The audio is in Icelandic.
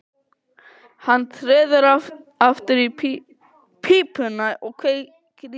Hann treður aftur í pípuna og kveikir í.